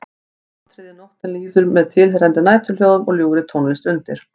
Atriði Nóttin líður með tilheyrandi næturhljóðum og ljúfri tónlist undir.